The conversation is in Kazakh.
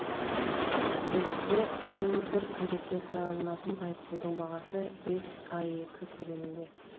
бізде бір үйрекке салынатын айыппұлдың бағасы бес аек көлемінде